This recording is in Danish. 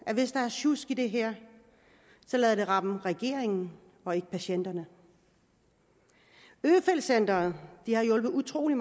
det hvis der er sjusk i det her rammer regeringen og ikke patienterne øfeldt centrene har hjulpet utrolig